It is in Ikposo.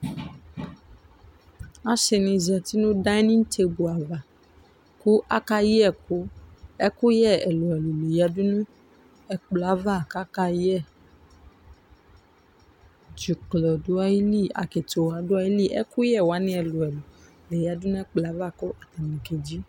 Ɔsini za uti nu danitsegu ava ku akayɛ ɛku ɛku yɛ ɛlu ɛlu yadu nu ɛkplɔ yɛ ava ku akayɛ dzuklɔ du ayili akitiwa du ayili ɛkuyɛ wani ɛlu ɛlu la yadu nu ɛkplɔ yɛ ava ku akedzi